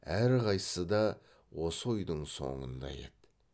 әрқайсысы да осы ойдың соңында еді